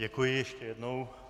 Děkuji ještě jednou.